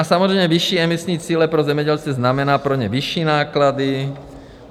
A samozřejmě, vyšší emisní cíle pro zemědělce znamená pro ně vyšší náklady.